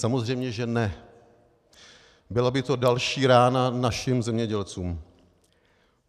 Samozřejmě že ne, byla by to další rána našim zemědělcům.